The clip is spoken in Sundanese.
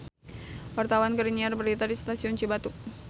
Wartawan keur nyiar berita di Stasiun Cibatu